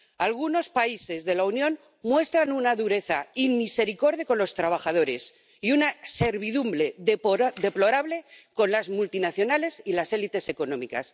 Algunos países de la Unión muestran una dureza inmisericorde con los trabajadores y una servidumbre deplorable con las multinacionales y las élites económicas.